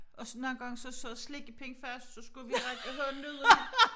Og så nogle gange så sad slikkepind fast så skulle række hånden ud og